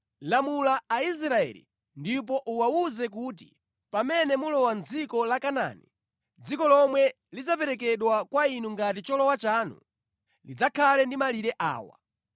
“Lamula Aisraeli ndipo uwawuze kuti, ‘Pamene mulowa mʼdziko la Kanaani, dziko lomwe lidzaperekedwa kwa inu ngati cholowa chanu, lidzakhale ndi malire awa: